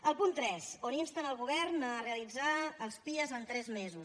el punt tres on insten el govern a realitzar els pia en tres mesos